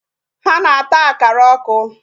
Ha na-ata akara ọkụ.